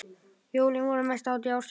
Jólin voru mesta hátíð ársins.